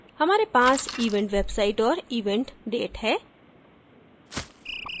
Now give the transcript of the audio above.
हमारे पास event website और event date है